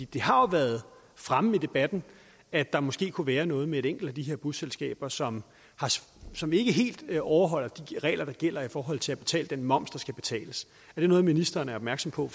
det har jo været fremme i debatten at der måske kunne være noget med et enkelt af de her busselskaber som som ikke helt overholder de regler der gælder i forhold til at betale den moms der skal betales er det noget ministeren er opmærksom på